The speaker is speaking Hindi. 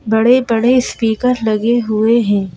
बड़े बड़े स्पीकर लगे हुए हैं।